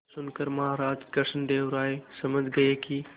यह सुनकर महाराज कृष्णदेव राय समझ गए कि